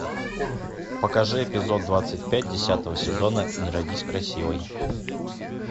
покажи эпизод двадцать пять десятого сезона не родись красивой